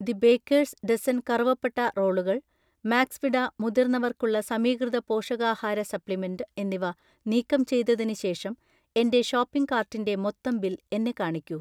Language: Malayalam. ദി ബേക്കേഴ്സ് ഡസൻ കറുവപ്പട്ട റോളുകൾ, മാക്സ്വിട മുതിർന്നവർക്കുള്ള സമീകൃത പോഷകാഹാര സപ്ലിമെന്റ് എന്നിവ നീക്കം ചെയ്‌തതിന് ശേഷം എന്‍റെ ഷോപ്പിംഗ് കാർട്ടിന്‍റെ മൊത്തം ബിൽ എന്നെ കാണിക്കൂ.